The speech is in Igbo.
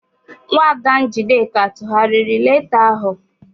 Nwaada Njideka tụgharịrị leeta ahụ.